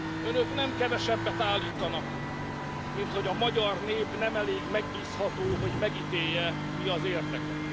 Önök nem kevesebbet állítanak, mint hogy a magyar nép nem elég megbízható, hogy megítélje, mi az érdeke.